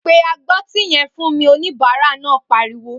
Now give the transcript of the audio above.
Pe agbọ́tí yẹn fún mi!', òníbàárà náà pariwo